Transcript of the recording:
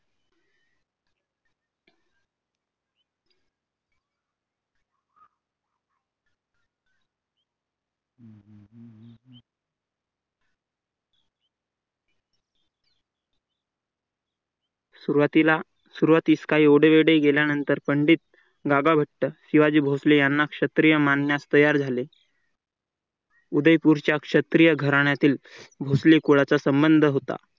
सुरुवातीस काय एवढे गेल्यानंतर पंडित दादाभट्ट यांना क्षत्रिय मानण्यास तयार झाले. उदयपूरच्या क्षत्रिय घराण्यातील भोसले कुळाचा संबंध होता